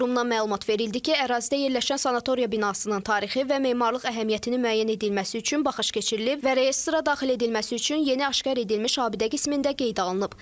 Qurumdan məlumat verildi ki, ərazidə yerləşən sanatoriya binasının tarixi və memarlıq əhəmiyyətinin müəyyən edilməsi üçün baxış keçirilib və reyestra daxil edilməsi üçün yeni aşkar edilmiş abidə qismində qeydə alınıb.